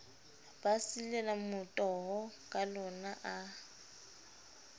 ba silela motoho kalona a